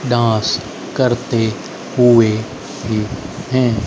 Dance करते हुए हैं।